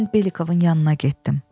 Mən Belikovun yanına getdim.